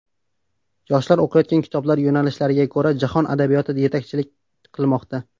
Yoshlar o‘qiyotgan kitoblar yo‘nalishiga ko‘ra, jahon adabiyoti yetakchilik qilmoqda.